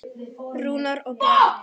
Rúnar og Björn.